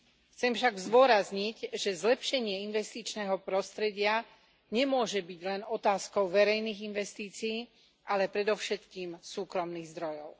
Chcem však zdôrazniť, že zlepšenie investičného prostredia nemôže byť len otázkou verejných investícií, ale predovšetkým súkromných zdrojov.